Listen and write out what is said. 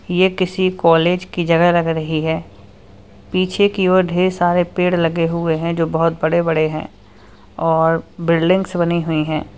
ये किसी कॉलेज की जगह लग रही है पीछे की और ढेर सारे पेड़ लगे हुए हैं जो बहोत बड़े बड़े हैं और बिल्डिंग्स बनी हुई है।